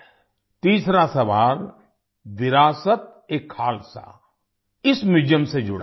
तीसरा सवाल विरासतएखालसा इस म्यूजियम से जुड़ा है